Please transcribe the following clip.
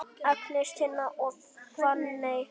Agnes, Tinna og Fanney.